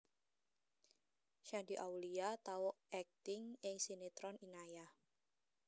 Shandy Aulia tau akting ing sinetron Inayah